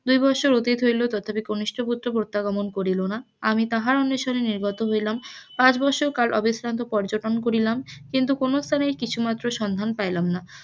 দুই বৎসর অতীত হইল তথাপি কনিষ্ঠ পুত্র প্রত্যাগমন করিল না আমি তাহার অন্বেশনে নির্গত হইলাম পাঁচ বৎসর কাল অবিশ্রান্ত পর্যটন করিলাম কিন্তু কোন স্থানেই কিছু মাত্র সন্ধান পাইলাম না,